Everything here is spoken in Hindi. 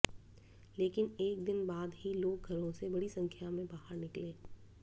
लेकिन एक दिन बाद ही लोग घरों से बड़ी संख्या में बाहर निकले